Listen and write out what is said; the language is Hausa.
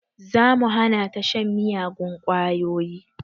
Za mu hana ta shan miyagun ƙwayoyi